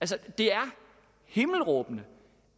det er himmelråbende